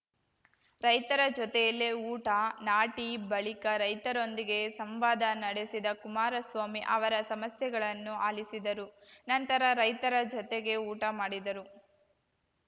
ರೈತರ ಜೊತೆಯಲ್ಲೇ ಊಟ ನಾಟಿ ಬಳಿಕ ರೈತರೊಂದಿಗೆ ಸಂವಾದ ನಡೆಸಿದ ಕುಮಾರಸ್ವಾಮಿ ಅವರ ಸಮಸ್ಯೆಗಳನ್ನೂ ಆಲಿಸಿದರು ನಂತರ ರೈತರ ಜತೆಗೇ ಊಟ ಮಾಡಿದರು